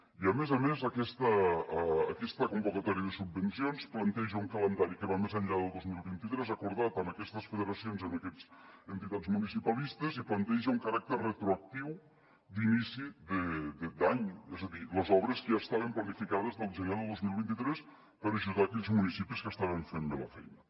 i a més a més aquesta convocatòria de subvencions planteja un calendari que va més enllà de dos mil vint tres acordat amb aquestes federacions amb aquestes entitats municipalistes i planteja un caràcter retroactiu d’inici d’any és a dir les obres que ja estaven planificades del gener de dos mil vint tres per ajudar aquells municipis que estaven fent bé la feina